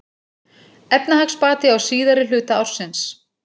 Efnahagsbati á síðari hluta ársins